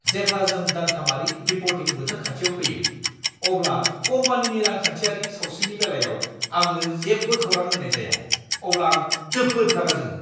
जेब्ला जों दानथामारि रिपर्टिं बोथोर खाथियाव फैयो, अब्ला कम्पानिनि रांखान्थियारि सावस्रिनि बेलायाव आंनो जेबो खौरां होनाय जाया अब्ला आं जोबोद रागा जोङो।